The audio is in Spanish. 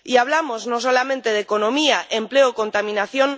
Y hablamos no solamente de economía, empleo o contaminación